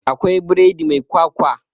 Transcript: Akwai biredi mai kwakwa